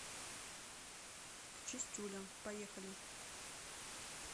чистюля поехали